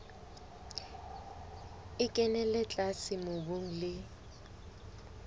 e kenella tlase mobung le